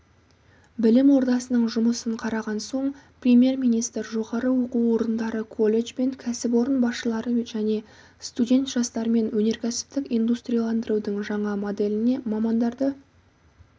білім ордасының жұмысын қараған соң премьер-министр жоғары оқу орындары колледж бен кәсіпорын басшылары және студент жастармен өнеркәсіптік индустрияландырудың жаңа моделіне мамандарды